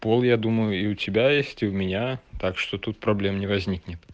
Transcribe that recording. пол я думаю и у тебя есть и у меня так что тут проблем не возникнет